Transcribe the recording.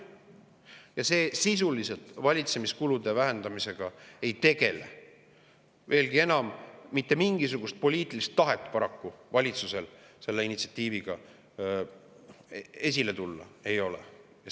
See ei tegele sisuliselt valitsemiskulude vähendamisega, veelgi enam, mitte mingisugust poliitilist tahet selle initsiatiiviga esile tulla valitsusel paraku ei ole.